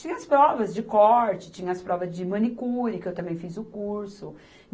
Tinha as provas de corte, tinha as provas de manicure, que eu também fiz o curso.